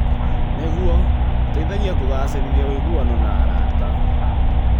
Nĩguo, ũteithagia kũgacĩrithia ũiguano na arata.